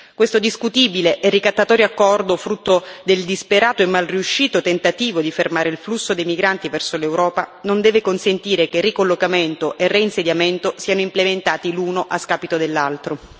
Questo discutibile e ricattatorio accordo, frutto del disperato e mal riuscito tentativo di fermare il flusso dei migranti verso l'Europa, non deve consentire che il ricollocamento e il reinsediamento siano implementati l'uno a scapito dell'altro.